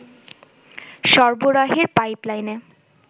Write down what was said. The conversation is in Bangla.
সরবরাহের পাইপলাইনে